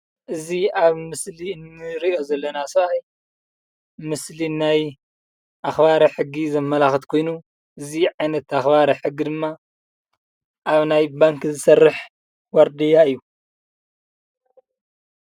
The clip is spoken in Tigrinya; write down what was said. እዚ ኣብ ምስሊ እንሪኦ ዘለና ሰብኣይ ምስሊ ናይ ኣኽባሪ ሕጊ ዘመላኽት ኮይኑ እዚ ዓይነት ኣኽባሪ ሕጊ ድማ ኣብ ናይ ባንኪ ዝሰርሕ ዋርድያ እዩ፡፡